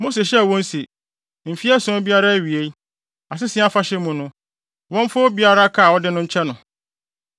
Mose hyɛɛ wɔn se, “Mfe ason biara awiei, Asese Afahyɛ mu no, wɔmfa obiara ka a ɔde no nkyɛ no.